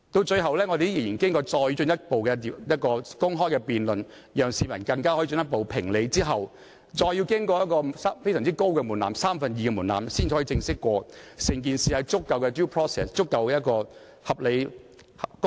最後，本會仍然要進行進一步的公開辯論，讓市民進一步評理，更要經過非常高的門檻才可正式通過，即獲得三分之二議員通過。